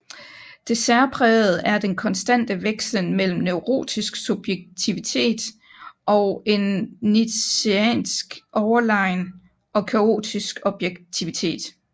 Det særprægede er den konstante vekslen mellem neurotisk subjektivitet og en nietzscheansk overlegen og kaotisk objektivitet